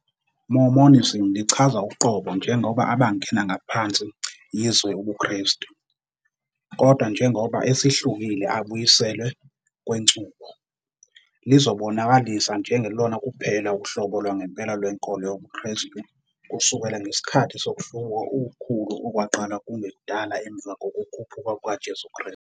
Mormonism lichaza uqobo njengoba abangena ngaphansi izwe ubuKristu, kodwa njengoba esihlukile abuyiselwe kwenchubo, lizibonakalisa njengelona kuphela uhlobo lwangempela lwenkolo yobuKristu kusukela ngesikhathi sokuhlubuka okukhulu okwaqala kungekudala emva kokukhuphuka kukaJesu Kristu.